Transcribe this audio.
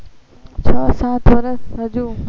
છ સાત વર્ષ હજુ